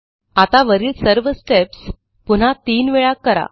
आता वरील सर्व स्टेप्स पुन्हा तीन वेळा करा